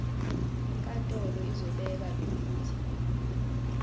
inkantolo izobeka nokuthi